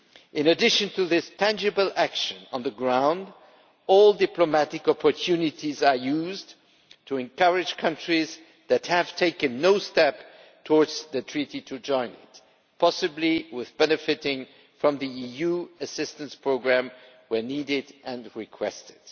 In addition to this tangible action on the ground, all diplomatic opportunities are used to encourage countries that have taken no steps towards the treaty to join it, possibly enabling them to benefit from the EU assistance programme where needed and requested.